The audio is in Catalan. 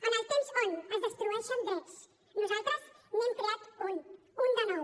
en el temps en què es destrueixen drets nosaltres n’hem creat un un de nou